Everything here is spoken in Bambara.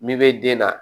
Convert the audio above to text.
Min bɛ den na